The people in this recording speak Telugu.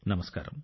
నమస్కారం